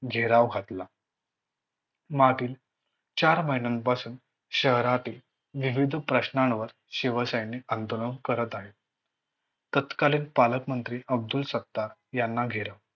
घेराव घातला. मागील चार महिन्यापासून शहरातील विविध प्रश्नावर शिवसैनिक आंदोलन करत आहे. तत्कालीन पालक मंत्री अब्दुल सत्ताक यांना घेराव घातला.